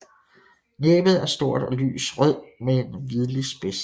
Næbet er stort og lys rød med en hvidlig spids